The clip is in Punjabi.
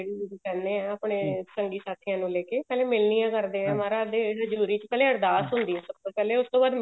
ਜਿੰਹਨੂ ਅਸੀਂ ਕਹਿੰਦੇ ਹਾਂ ਆਪਨੇ ਸੰਗੀ ਸਾਥੀਆਂ ਨੂੰ ਲੈਕੇ ਪਹਿਲੇ ਮਿਲਣੀਆ ਕਰਦੇ ਐ ਮਹਾਰਾਜ ਦੇ ਹਜੂਰੀ ਚ ਪਹਿਲੇ ਅਰਦਾਸ ਹੁੰਦੀ ਹੈ ਸਭ ਤੋਂ ਪਹਿਲੇ ਉਸ ਤੋਂ ਬਾਅਦ